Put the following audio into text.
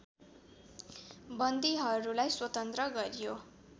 बन्दीहरूलाई स्वतन्त्र गरियो